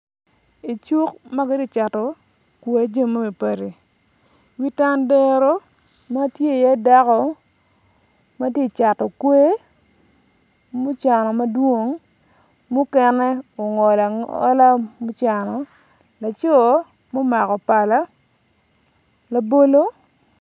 Icuk ma kiti cato kwai jami mapadi padi wi tandero ma tye iye dako ma tye cato okwer mucano madwong mukene ogolo agola gucano laco omako pala labolo